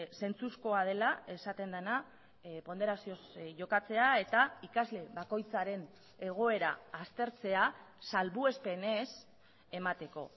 zentzuzkoa dela esaten dena ponderazioz jokatzea eta ikasle bakoitzaren egoera aztertzea salbuespenez emateko